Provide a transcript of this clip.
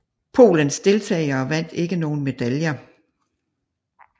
Polens deltagere vandt ikke nogen medaljer